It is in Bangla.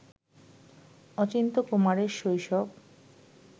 অচিন্ত্যকুমারের শৈশব